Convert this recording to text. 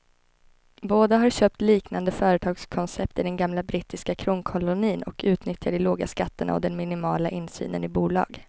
Båda har köpt liknande företagskoncept i den gamla brittiska kronkolonin och utnyttjar de låga skatterna och den minimala insynen i bolag.